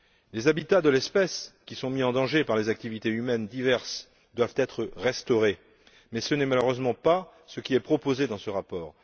Les habitats de l'espèce, qui sont mis en danger par les activités humaines diverses, doivent être restaurés mais ce n'est malheureusement pas ce qui est proposé dans ce rapport.